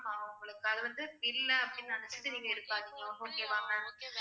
உங்களுக்கு அது வந்து இல்ல அப்படின்னு நினைச்சிட்டு நீங்க இருக்காதீங்க. okay வா ma'am